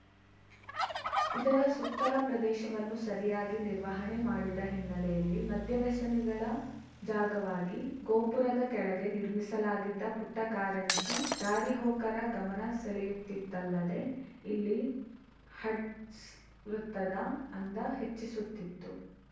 ಇದರ ಸುತ್ತಲ ಪ್ರದೇಶವನ್ನು ಸರಿಯಾಗಿ ನಿರ್ವಹಣೆ ಮಾಡಿದ ಹಿನ್ನೆಲೆಯಲ್ಲಿ ಮದ್ಯವ್ಯಸನಿಗಳ ಜಾಗವಾಗಿದೆ ಗೋಪುರದ ಕೆಳಗೆ ನಿರ್ಮಿಸಲಾಗಿದ್ದ ಪುಟ್ಟಕಾರಂಜಿ ದಾರಿಹೋಕರ ಗಮನ ಸೆಳೆಯುತ್ತಿತ್ತಲ್ಲದೆ ಇಲ್ಲಿ ಹಡ್ಸ ವೃತ್ತದ ಅಂದ ಹೆಚ್ಚಿಸುತ್ತಿತ್ತು